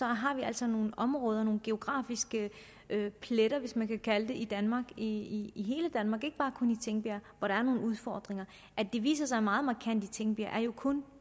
har vi altså nogle områder nogle geografiske pletter hvis man kan kalde i danmark i i hele danmark i tingbjerg hvor der er nogle udfordringer at det viser sig meget markant i tingbjerg er jo kun